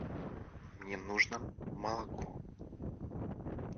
мне нужно молоко